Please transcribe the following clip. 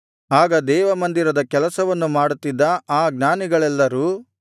ಆಗ ದೇವಮಂದಿರದ ಕೆಲಸವನ್ನು ಮಾಡುತ್ತಿದ್ದ ಆ ಜ್ಞಾನಿಗಳೆಲ್ಲರು